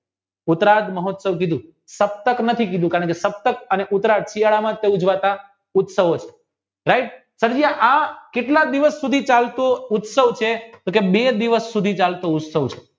ઉતરાગ મહોત્સવ કીધું સકતક નથી કીધું કારણ કે સકતક નથી કીધું કારણ કે સકતક અને ઉતરાગ શિયાળામાં ઉજવાતા ઉત્સવો છે right સક્રિય આ કેટલાક દિવસો સુધી ચાલતું ઉત્સવ છે તો કે બે દિવસ સુધી ચાલતું ચાલતો ઉત્સવ છે